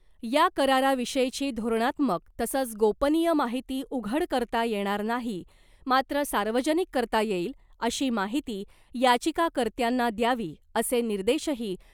या कराराविषयीची धोरणात्मक तसंच गोपनीय माहिती उघड करता येणार नाही , मात्र सार्वजनिक करता येईल अशी माहिती याचिकाकर्त्यांना द्यावी , असे निर्देशही